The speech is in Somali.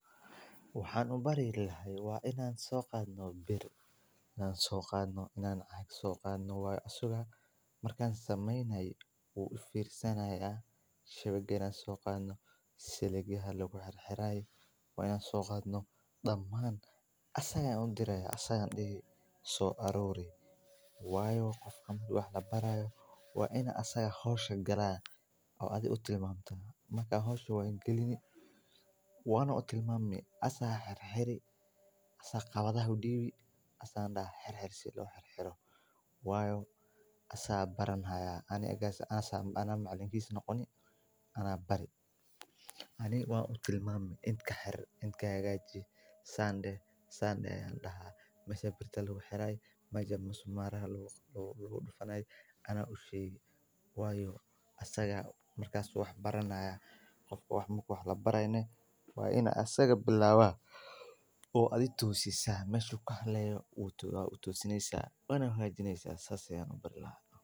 Waxaan ubari lahaay waa inaan soqadno waa sugaa markan sameynayo waan ufirsaya uifirsanaya shawig yar aan soqaadno siligaha laguxirxiraya waa inaan soqaadno damaan asaga udiraya asaga yaa daha soo aruuri waayo qofka marki wax labarayo waa in asaga howshu galaa oo adhi aad utimamto marka howshu waad galini waana utilmaami asaa xirxir asaa qabadhah udiibi asaa dihhi xirxir si loo xirxiro waayo asaa baranhya ani egas anaa macalinkis noqoni anaa bari. Ani waan utilmaami int kaxir int kahagaali san dehi san deh ayaan daxaa mesha birta laguxiraay meja musmara ha lagudufanaay anaa usheegi waayo asagaa markaas wax baranaaya. qofka wax marka wax labaraaye neh waan in asaga bilaaba oo adhi toosisa meshu kahaleeyo waa utoosineysa wana hagaajineysa saas ayaan ubari lahaa.